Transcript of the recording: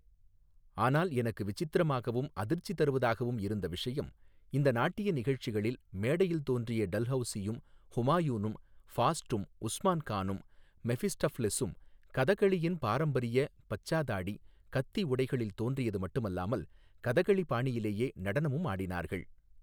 ஆனால் எனக்கு விசித்திரமாகவும் அதிர்ச்சி தருவதாகவும் இருந்த விஷயம், இந்த நாட்டிய நிகழ்ச்சிகளில், மேடையில் தோன்றிய டல்ஹௌசியும், ஹுமாயூனும் ஃபாஸ்ட்டும், உஸ்மான் கானும் மெஃபிஸ்டஃப்லெஸூம், கதகளியின் பாரம்பரிய பச்சா தாடி, கத்தி உடைகளில் தோன்றியது மட்டுமல்லாமல், கதகளி பாணியிலேயே நடனமும் ஆடினார்கள்.